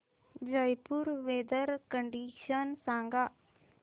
Jaipur weather condition सांगा